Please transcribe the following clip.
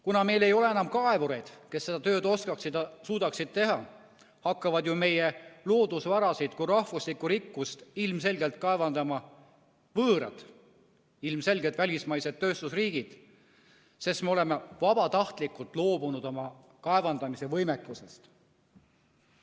Kuna meil ei ole enam kaevureid, kes seda tööd oskaksid ja suudaksid teha, hakkavad meie loodusvarasid kui rahvuslikku rikkust ilmselgelt kaevandama võõrad, ilmselgelt välismaised tööstusriigid, sest me oleme vabatahtlikult loobunud oma kaevandamise võimekusest.